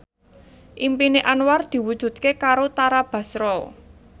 impine Anwar diwujudke karo Tara Basro